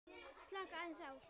Slaka aðeins á.